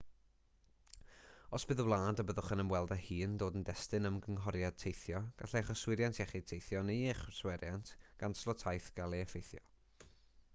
os bydd y wlad y byddwch yn ymweld â hi yn dod yn destun ymgynghoriad teithio gallai'ch yswiriant iechyd teithio neu eich yswiriant canslo taith gael eu heffeithio